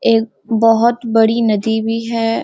एक बहुत बड़ी नदी भी है।